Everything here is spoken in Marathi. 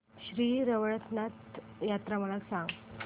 श्री रवळनाथ यात्रा मला सांग